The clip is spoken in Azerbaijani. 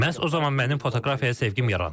Məhz o zaman mənim fotoqrafiyaya sevgim yarandı.